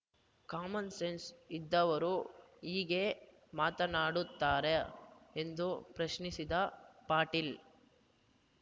common sense ಇದ್ದವರು ಹೀಗೆ ಮಾತನಾಡುತ್ತಾರಾ ಎಂದು ಪ್ರಶ್ನಿಸಿದ ಪಾಟೀಲ